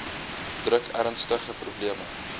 druk ernstige probleme